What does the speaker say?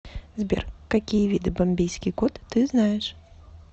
сбер какие виды бомбейский кот ты знаешь